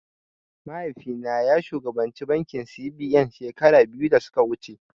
Mahaifi na ya shugabanci bankin C.B.N shekaru biyu da suka wuce